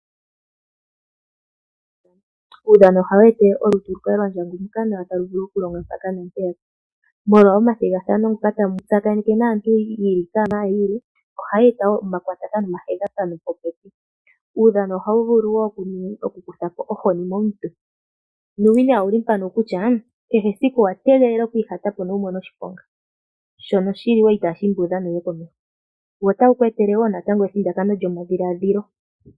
Uudhano ohawu etele omalutu lu kale lwandjanguka nawa talu vulu okulonga mpaka naa mpeyaka. Molwa omathigathano ngoka tamu tsakaneke aantu yi ili no yi ili, ohaya eta wo omakwatathano nomathigathano popepi. Uudhano oha wu vulu oku kuthapo ohoni momuntu. Nuuwinayi owuli mpano kutya kehe esiku owategela oku ihatapo nowumone shiponga shono shili wo itaashiimbi uudhano wuye komeho, wo otawu ku etele wo ithindakano lyomadhiladhilo.